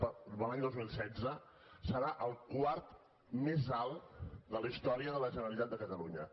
per a l’any dos mil setze serà el quart més alt de la història de la generalitat de catalunya